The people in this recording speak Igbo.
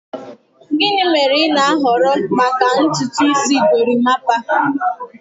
Gịnị mere ị na-ahọrọ maka ntutu isi gorimapa?